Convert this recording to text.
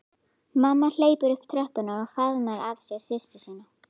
Mamma hleypur upp tröppurnar og faðmar að sér systur sína.